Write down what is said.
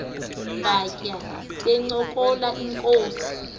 batya bencokola inkos